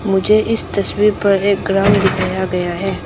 मुझे इस तस्वीर पर एक ग्राउंड दिखाया गया है।